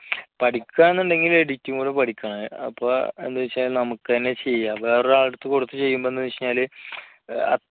പഠിക്കാന്ന് ഉണ്ടെങ്കിൽ editing കൂടെ പഠിക്കണം അപ്പോഎന്ത് വെച്ചാ നമുക്ക് തന്നെ ചെയ്യാം വേറൊരാളുടെ എടുത്തു കൊടുത്ത് ചെയ്യുമ്പോൾ എന്താണ് വെച്ചാല്